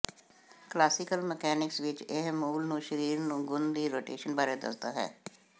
classical mechanics ਵਿੱਚ ਇਹ ਮੁੱਲ ਨੂੰ ਸਰੀਰ ਨੂੰ ਗੁਣ ਦੀ ਰੋਟੇਸ਼ਨ ਬਾਰੇ ਦੱਸਦਾ ਹੈ